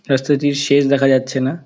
রাস্তাটির শেষ দেখা যাচ্ছে না।